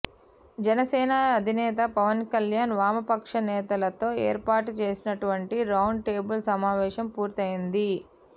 జనసేన అధినేత పవన్ కళ్యాణ్ వామపక్ష నేతలతో ఏర్పాటు చేసినటువంటి రౌండ్ టేబుల్ సమావేశం పూర్తయ్యింది